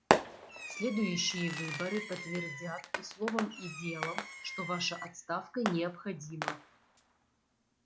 следующие выборы подтвердят и словом и делом что ваша отставка необходима